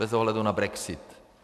Bez ohledu na brexit.